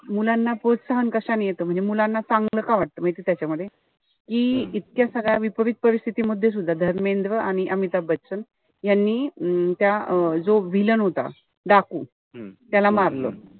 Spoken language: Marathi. मुलांना प्रोत्साहन कशाने येत म्हणजे मुलांना चांगलं का वाटत माहितीय त्याच्यामध्ये. कि इतक्या सगळ्या विपरीत परिस्थिती मध्ये सुद्धा धर्मेंद्र आणि अमिताभ बच्चन यांनी अं त्या जो villain होता. डाकू त्याला मारलं.